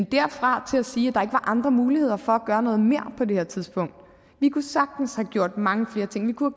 derfra og til at sige at var andre muligheder for at gøre noget mere på det her tidspunkt vi kunne sagtens have gjort mange flere ting vi kunne